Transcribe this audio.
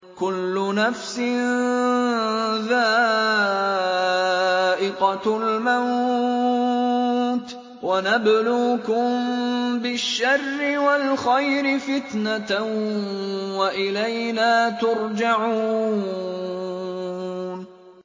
كُلُّ نَفْسٍ ذَائِقَةُ الْمَوْتِ ۗ وَنَبْلُوكُم بِالشَّرِّ وَالْخَيْرِ فِتْنَةً ۖ وَإِلَيْنَا تُرْجَعُونَ